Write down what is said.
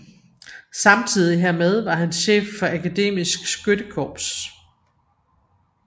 Samtidig hermed var han chef for Akademisk Skyttekorps